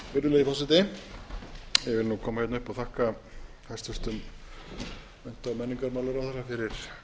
virðulegi forseti ég vil koma hingað upp og þakka hæstvirtum mennta og menningarmálaráðherra